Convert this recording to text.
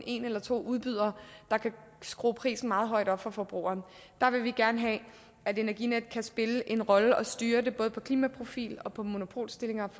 en eller to udbydere der kan skrue prisen meget højt op for forbrugeren der vil vi gerne have at energinet kan spille en rolle og styre det både på klimaprofil på monopolstilling op